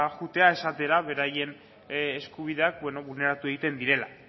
joateko esatera beraien eskubideak bulneratu egiten direla